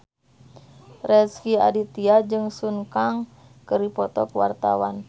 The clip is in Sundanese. Rezky Aditya jeung Sun Kang keur dipoto ku wartawan